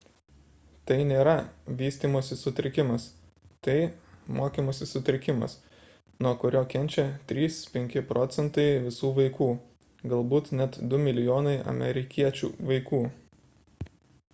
tai nėra vystymosi sutrikimas tai – mokymosi sutrikimas nuo kurio kenčia 3–5 proc. visų vaikų galbūt net 2 mln amerikiečių vaikų